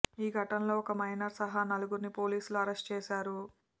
ఈ ఘటనలో ఒక మైనర్ సహా నలుగురిని పోలీసులు అరెస్టు చేశారు